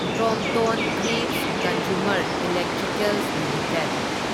Crompton Greaves Consumer Electricals limited